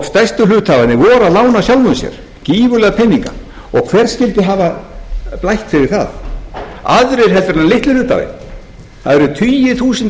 stærstu hluthafarnir voru að lána sjálfum sér gífurlega peninga hver skyldi hafa blætt fyrir það aðrir heldur en litli hluthafinn það eru tugir þúsunda